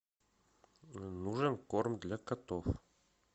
нужен корм для котов